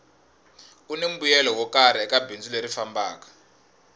kuni mbuyelo wo karhi eka bindzu leri fambaka